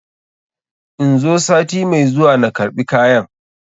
In zo sati mai zuwa na karɓi kayan?